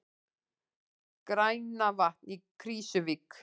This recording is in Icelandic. Grænavatn í Krýsuvík.